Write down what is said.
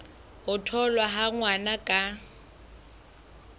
ho tholwa ha ngwana ka